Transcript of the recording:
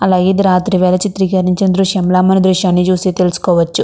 అలాగే ఇది రాత్రి వేళ చిత్రీకరించిన దృశ్యంలా మనం దృశ్యాన్ని చూసి తెలుసుకోవచ్చు.